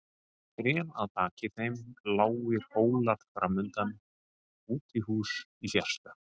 Trén að baki þeim, lágir hólar framundan, útihús í fjarska.